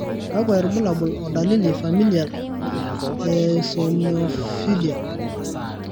kakwa irbulabol o dalili Familial eosinophilia?